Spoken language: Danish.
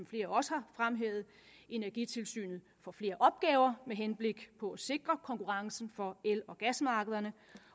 flere også har fremhævet energitilsynet får flere opgaver med henblik på at sikre konkurrencen for el og gasmarkederne